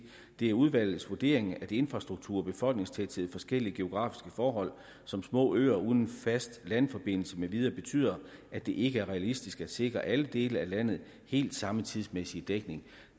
det er udvalgets vurdering at infrastruktur befolkningstæthed forskellige geografiske forhold som små øer uden fast landforbindelse med videre betyder at det ikke er realistisk at sikre alle dele af landet helt samme tidsmæssige dækning